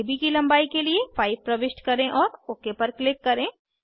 AB की लंबाई के लिए 5 प्रविष्ट करें और ओक पर क्लिक करें